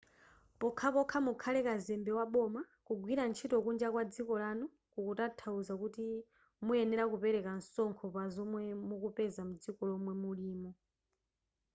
pokhapokha mukhale kazembe waboma kugwira ntchito kunja kwa dziko lanu kukutanthauza kuti muyenera kupereka msonkho pazomwe mukupeza mdziko lomwe mulimo